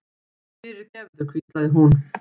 fyrirgefðu, hvíslaði hún.